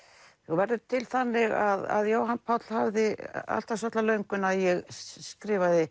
hún verður til þannig að að Jóhann Páll hafði alltaf svolitla löngun að ég skrifaði